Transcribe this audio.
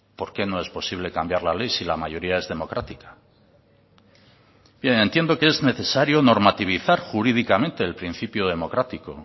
por qué no es posible cambiar la ley si la mayoría es democrática bien entiendo que es necesario normativizar jurídicamente el principio democrático